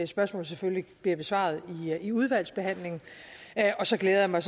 spørgsmål selvfølgelig bliver besvaret i udvalgsbehandlingen og så glæder jeg mig